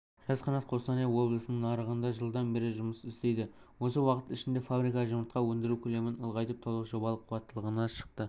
жас-қанат қостанай облысының нарығында жылдан бері жұмыс істейді осы уақыт ішінде фабрика жұмыртқа өндіру көлемін ұлғайтып толық жобалық қуаттылығына шықты